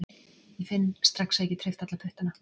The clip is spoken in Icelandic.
Ég finn strax að ég get hreyft alla puttana